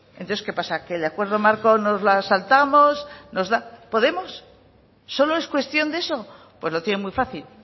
entonces que pasa que el acuerdo marco nos la saltamos nos da podemos solo es cuestión de eso pues lo tiene muy fácil